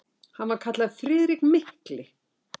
Hann var kallaður Friðrik mikli.